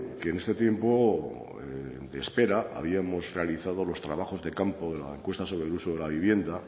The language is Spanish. que en este tiempo de espera habíamos realizado los trabajos de campo en la encuesta sobre el uso de la vivienda